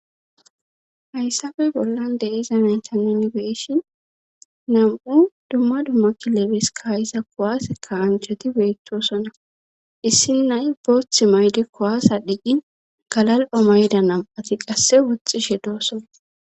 hayssafey bollan deiza naytaninbeeshin nam7u dumma dumma kilebes kayisa kowaaseka anjhati beettosona issin nay booth mayde kowaasa dhiqqin galal7omayda nam7ati qasse woxxishe doosona